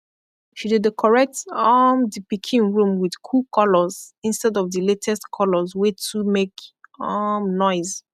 she dekorate um di pikin room wit kool kolors insted of di latest kolors wey too make um noise